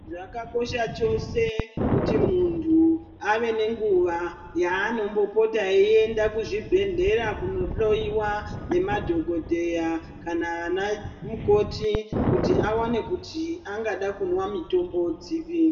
Zvakakosha chose kuti muntu ave nenguva yaanombopota eiende kuzvibhedhlera kundohloyiwa nemadhogodheya kana vana mukoti kuti awane kuti angada kunwa mitombo dziri.